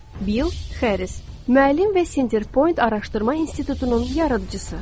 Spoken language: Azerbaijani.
Bil Xəriz, müəllim və Sinterpoint Araşdırma İnstitutunun yaradıcısı.